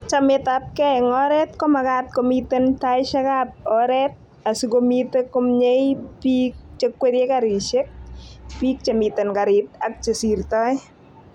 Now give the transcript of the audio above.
chametabgei eng oret komagaat komiten taishekab oret asigomite komnyei biik chekwerie karishek,,biik chemiten karit ak chesirtoi